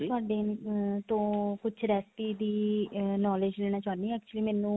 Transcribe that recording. ਤੁਹਾਡੇ ਤੋ ਕੁੱਝ recipe ਦੀ knowledge ਲੈਣਾ ਹਾਂ actually ਮੈਨੂੰ